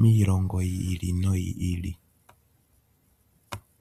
miilongo yi ili noyi ili.